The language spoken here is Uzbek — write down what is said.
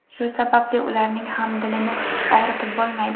Shu sababli ularning ham dilini og‘ritib bo‘lmaydi.